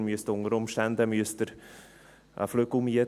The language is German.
Unter Umständen müssen Sie einen Flügel mieten.